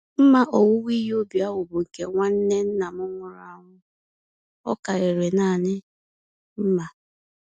Mma owuwe ihe ubi ahụ bụ nke nwanne nna m nwụrụ anwụ—ọ karịrị nanị mma.